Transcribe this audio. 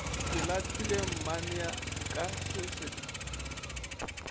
ke lahlile mmanenka se sa